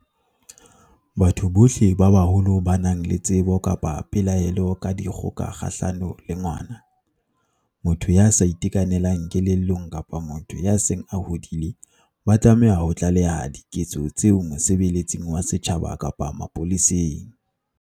Batho bohle ba baholo ba nang le tsebo kapa pelaelo ka dikgoka kgahlano le ngwana, motho ya sa itekanelang kelellong kapa motho ya seng a hodile ba tlameha ho tlaleha diketso tseo mosebeletsing wa setjhaba kapa mapoleseng.